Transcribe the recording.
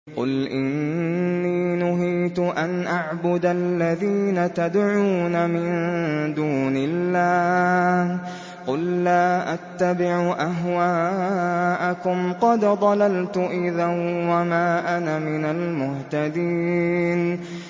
قُلْ إِنِّي نُهِيتُ أَنْ أَعْبُدَ الَّذِينَ تَدْعُونَ مِن دُونِ اللَّهِ ۚ قُل لَّا أَتَّبِعُ أَهْوَاءَكُمْ ۙ قَدْ ضَلَلْتُ إِذًا وَمَا أَنَا مِنَ الْمُهْتَدِينَ